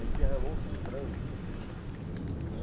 Ele derramou-se em prantos, não é.